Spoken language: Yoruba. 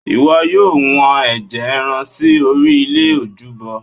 ìwọ yóò wọ́n ẹ̀jẹ̀ ẹran sí orí ilẹ̀ ojúbọ